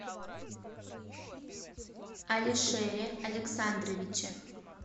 алишере александровиче